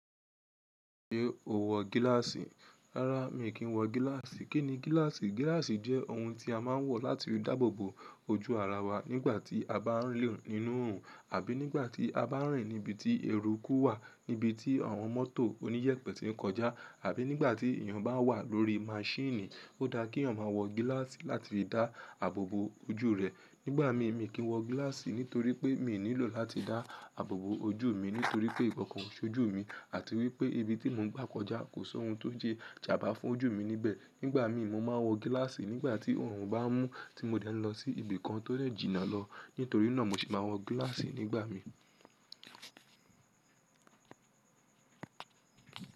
Ṣé o wọ gíláàsì? Rárá, mi kìn í wọ gíláàsì. Kí ni gíláàsì? Gíláàsì jẹ́ ohun tí a máa ń wọ láti dáàbò bo ojú ara wa nígbà tí a bá ń lọ nínú òòrùn, àbí nígbà tí a bá ń rìn níbi tí eruku wà, níbi tí àwọn mọ́tò oníyèpè ti ń kọjá, àbí nígbà tí èèyàn bá wà lórí maṣíìnì, ó dáa kí èèyàn maa wọ gíláàsì láti fi dá àbò bo ojú rẹ̀. Nígbà mi, mi kì í wọ gíláàsì nítorí pé mi ò nílò láti dá àbò bo ojú mi, nítorí pé ìkankan o ṣojú mi àti wípé ibi tí mò ń gbà kọjá kò sọ́hun tó lè jà bá fún ojú mi níbẹ̀. Nígbà mi, mo máa ń wọ gíláàsì nígbà tí òòrùn bá mú tí mo dẹ́ n lọ sí ibi kan tó dè jìnnà lọ. Nítorí náà, mo sì máa wọ gíláàsì nígbà mi.